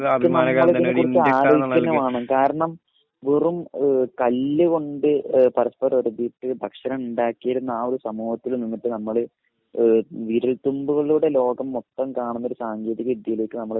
കാരണം വെറും ഏഹ് കല്ല് കൊണ്ട് ഏഹ് പരസ്പരം ഉരതീട്ട് ഭക്ഷണം ഉണ്ടാക്കിയിരുന്ന ആ ഒരു സമൂഹത്തില് നിന്നിട്ട് നമ്മള് ഏഹ് വിരൽത്തുമ്പുകളുടെ ലോകം മൊത്തം കാണുന്ന ഒരു സാങ്കേതിക വിദ്യയിലേക്ക് നമ്മള്